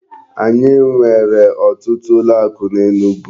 Anyị nwere otutu ụlọ akụ n'Enugu.